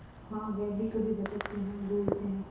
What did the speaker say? हाँ वह भी कभी भटकते हैं भूलते हैं